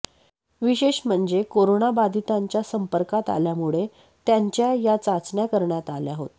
विशेष म्हणजे कोरोना बाधितांच्या संपर्कात आल्यामुळे त्यांच्या या चाचण्या करण्यात आल्या होत्या